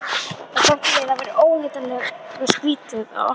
Og bætti við að það væri óneitanlega skrýtið, að Ottó